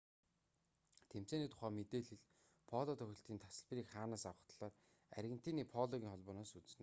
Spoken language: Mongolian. тэмцээний тухай мэдээлэл поло тоглолтын тасалбарыг хаанаас авах талаар аргентиний пологын холбооноос үзнэ үү